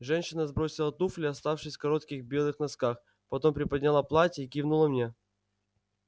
женщина сбросила туфли оставшись в коротких белых носках потом приподняла платье и кивнула мне